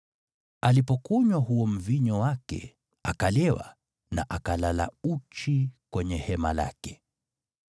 Alipokunywa huo mvinyo wake akalewa na akalala uchi kwenye hema lake.